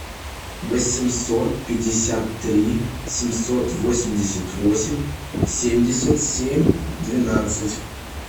восемьсот пятьдесят три семьсот восемьдесят восемь семьдесят семь двенадцать